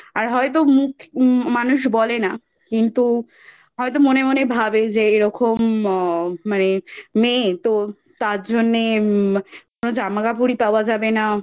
আর হয়তো মুখ মানুষ বলে না কিন্তু হয়তো মনে মনে ভাবে যে এইরকম মেয়ে তো তারজন্যে ম কোনো জামাকাপড় ই পাওয়া যাবে না